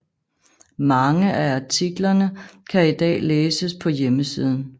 Mange af artiklerne kan i dag læses på hjemmesiden